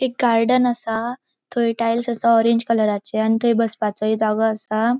एक गार्डन असा थय टाइल्स असा ऑरेंज कलराचे आणि थय बसपाचोए जागो आसा.